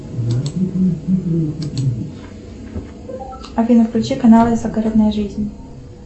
афина включи канал загородная жизнь